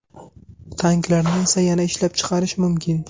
Tanklarni esa yana ishlab chiqarish mumkin.